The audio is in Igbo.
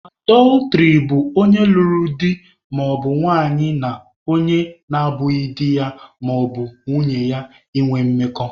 Adọltrị bụ onye lụrụ di maọbụ nwanyị na onye na abụghị di ya maọbụ nwunye ya ịnwe mmekọ.